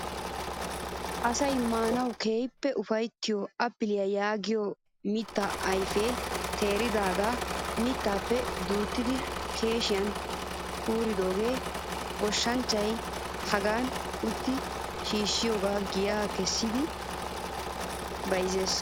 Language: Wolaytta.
Asayi maanawu keehippe upayittiyoo appiliyaa yaagiyoo mittaa ayipee teeridaaga mittaappe duttidi keeshshiyan kuuridoogaa. Goshshanchchayi hagaadan ootti shiishshidoogaa giyaa kessidi bayizzes.